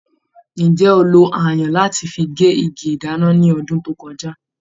Ǹjẹ́ o lo ayùn láti fi gé igi ìdáná ní ọdún tó kọjá?